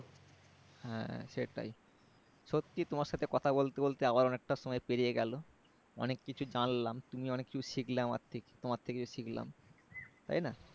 হ্যাঁ সেটাই সত্যিই তোমার সাথে কথা বলতে বলতে আবার অনেকটা সময় পেরিয়ে গেলো অনেক কিছু জানলাম তুমিও অনেক কিছু শিখলে আমার থেকে তোমার থেকেও শিখলাম তাইনা